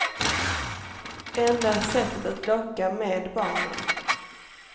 Enda sättet att locka med barnen.